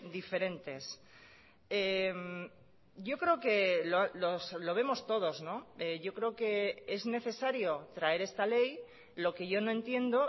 diferentes yo creo que lo vemos todos yo creo que es necesario traer esta ley lo que yo no entiendo